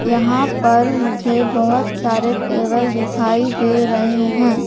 यहां पर मुझे बहोत सारे टेबल दिखाई दे रहे हैं।